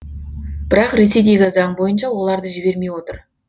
бірақ ресейдегі заң бойынша оларды жібермей отыр